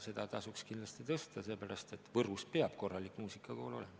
Seda tasuks kindlasti tõsta, sellepärast et Võrus peab korralik muusikakool olema.